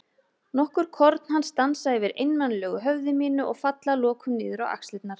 Nokkur korn hans dansa yfir einmanalegu höfði mínu og falla að lokum niður á axlirnar.